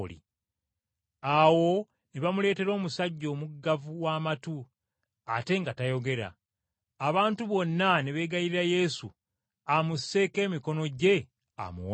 Awo ne bamuleetera omusajja omuggavu w’amatu ate nga tayogera, abantu bonna ne beegayirira Yesu amusseeko emikono gye amuwonye.